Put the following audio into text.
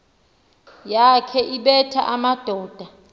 yakhe ebetha amadoda